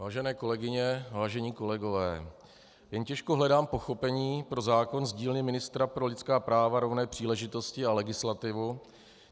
Vážené kolegyně, vážení kolegové, jen těžko hledám pochopení pro zákon z dílny ministra pro lidská práva, rovné příležitosti a legislativu.